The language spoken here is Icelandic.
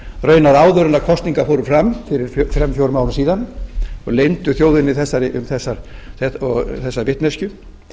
raunar áður en kosningar fóru fram fyrir þremur fjórum árum síðan og leyndu þjóðinni þessari vitneskju